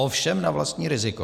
Ovšem na vlastní riziko.